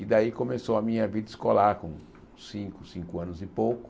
E daí começou a minha vida escolar com cinco, cinco anos e pouco.